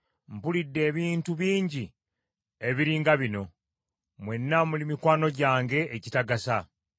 “Mpulidde ebintu bingi ebiri nga bino; mwenna muli mikwano gyange egitagasa.